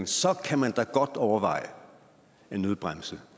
så kan man da godt overveje en nødbremse